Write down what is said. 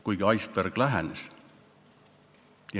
Kuigi iceberg lähenes.